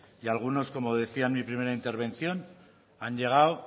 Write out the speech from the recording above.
y algunos como decía en mi primera intervención han llegado